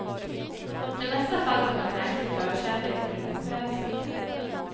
Det mesta faller på en märklig förkärlek för det pompösa.